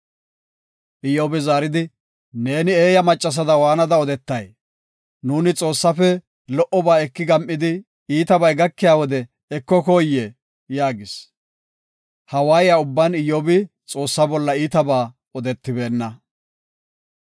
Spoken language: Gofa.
Iyyobi zaaridi, “Neeni eeya maccasada waanada odetay? Nuuni Xoossaafe lo77oba eki gam7idi, iitabay gakiya wode ekokoyee?” yaagis. Ha waaye ubban Iyyobi Xoossa bolla iitabaa odetibeenna.